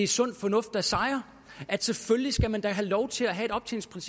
sund fornuft der sejrer selvfølgelig skal man da have lov til at have